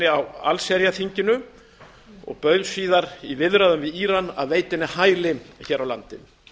á allsherjarþinginu og bauð síðar í viðræðum við íran að veita henni hæli hér á landi